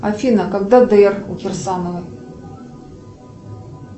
афина когда др у кирсанова